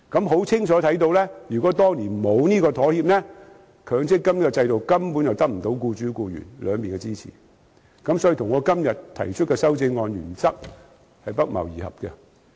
顯然，如果當年沒有這個妥協，強積金制度根本得不到僱主和僱員雙方支持。這與我今天提出修正案的原則不謀而合。